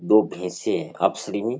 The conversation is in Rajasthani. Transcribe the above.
दो भैंसे हैं आपसरी में।